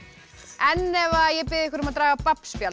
en ef ég bið ykkur um að draga